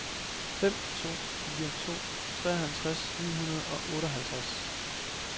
fem to fire to treoghalvtreds ni hundrede og otteoghalvtreds